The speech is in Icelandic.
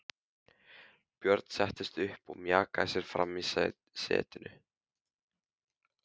Björn settist upp og mjakaði sér fram í setinu.